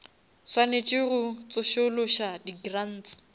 swanetše go tsošološa di grants